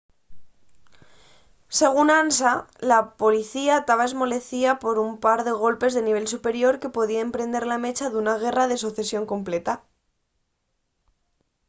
según ansa la policía taba esmolecida por un par de golpes de nivel superior que podíen prender la mecha d’una guerra de socesión completa